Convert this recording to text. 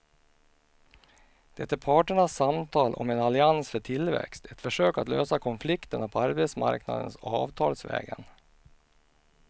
Det är parternas samtal om en allians för tillväxt, ett försök att lösa konflikterna på arbetsmarknaden avtalsvägen.